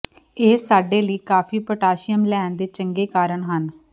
ਇਹ ਸਾਡੇ ਲਈ ਕਾਫ਼ੀ ਪੋਟਾਸ਼ੀਅਮ ਲੈਣ ਦੇ ਚੰਗੇ ਕਾਰਨ ਹਨ